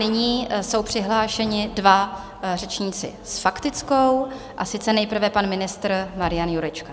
Nyní jsou přihlášeni dva řečníci s faktickou, a sice nejprve pan ministr Marian Jurečka.